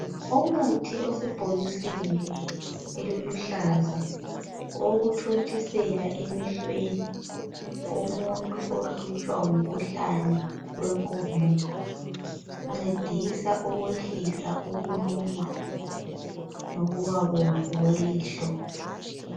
Umuthi osebhokisini eliluhlaza owokuthontisela emehlweni. Womuntu ohlutshwa ngumkhuhlane wenkomo ,uncedisa ukwehlisa ukuluma lokuba bomvu kwelihlo.